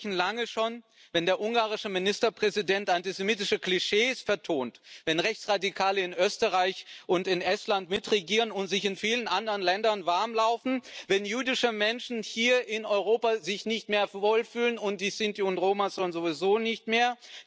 Sie brechen lange schon, wenn der ungarische Ministerpräsident antisemitische Klischees vertont, wenn Rechtsradikale in Österreich und in Estland mitregieren und sich in vielen anderen Ländern warmlaufen, wenn jüdische Menschen hier in Europa sich nicht mehr wohlfühlen und die Sinti und Roma sowieso nicht mehr.